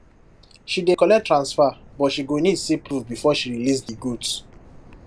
she dey collect transfer but she go need see proof before she release di goods